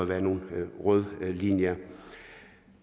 været en rød linje